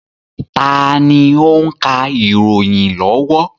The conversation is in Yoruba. Taàní ó ń ka ìròyìn lọ́wọ́?